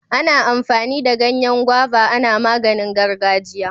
Ana amfani da Ganyen gwaiva ana maganin gargajiya.